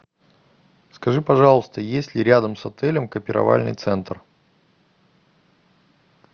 скажи пожалуйста есть ли рядом с отелем копировальный центр